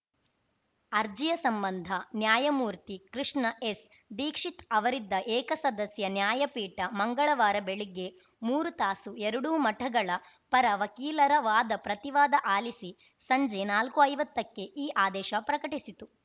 ಅರ್ಜಿಯ ಸಂಬಂಧ ನ್ಯಾಯಮೂರ್ತಿ ಕೃಷ್ಣ ಎಸ್‌ ದೀಕ್ಷಿತ್‌ ಅವರಿದ್ದ ಏಕಸದಸ್ಯ ನ್ಯಾಯಪೀಠ ಮಂಗಳವಾರ ಬೆಳಿಗ್ಗೆ ಮೂರು ತಾಸು ಎರಡೂ ಮಠಗಳ ಪರ ವಕೀಲರ ವಾದ ಪ್ರತಿವಾದ ಆಲಿಸಿ ಸಂಜೆ ನಾಲ್ಕುಐವತ್ತಕ್ಕೆ ಈ ಆದೇಶ ಪ್ರಕಟಿಸಿತು